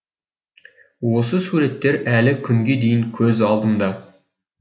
осы суреттер әлі күнге дейін көз алдымда